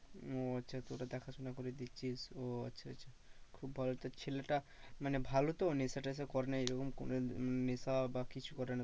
ও আচ্ছা তোরা দেখা শোনা করে দিচ্ছিস ও আচ্ছা আচ্ছা খুব ভালো তা ছেলেটা মানে ভালো তো নেশা টেশা করে না এরকম নেশা বা কিছু করে না